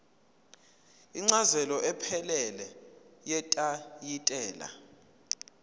incazelo ephelele yetayitela